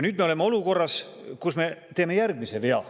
Nüüd me oleme olukorras, kus me teeme järgmise vea.